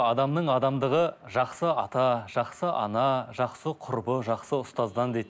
адамның адамдығы жақсы ата жақсы ана жақсы құрбы жақсы ұстаздан дейді